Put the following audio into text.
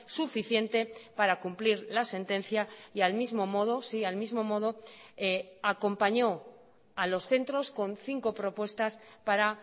suficiente para cumplir la sentencia y al mismo modo sí al mismo modo acompañó a los centros con cinco propuestas para